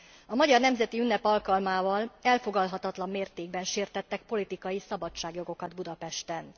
A magyar nemzeti ünnep alkalmával elfogadhatatlan mértékben sértettek politikai szabadságjogokat Budapesten.